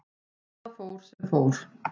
Og það fór sem fór.